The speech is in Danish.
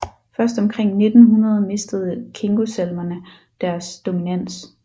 Først omkring 1900 mistede kingosalmerne deres dominans